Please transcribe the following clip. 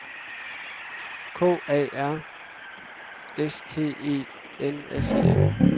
K A R S T E N S E N